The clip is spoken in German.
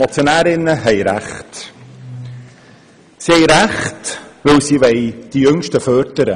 Sie haben Recht, weil sie die Jüngsten fördern wollen.